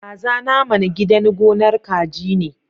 Kaza naman gidan gonar kaji ne.